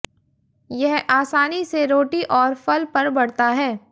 यह आसानी से रोटी और फल पर बढ़ता है